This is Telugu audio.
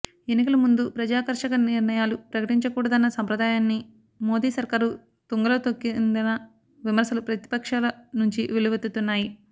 ఎన్నికల ముందు ప్రజాకర్షక నిర్ణయాలు ప్రకటించకూడదన్న సంప్రదాయాన్ని మోదీ సర్కారు తుంగలో తొక్కిందన్న విమర్శలు ప్రతిపక్షాల నుంచి వెల్లువెత్తుతున్నాయి